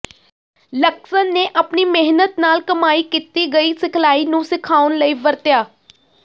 Luxon ਨੇ ਆਪਣੀ ਮਿਹਨਤ ਨਾਲ ਕਮਾਈ ਕੀਤੀ ਗਈ ਸਿਖਲਾਈ ਨੂੰ ਸਿਖਾਉਣ ਲਈ ਵਰਤਿਆ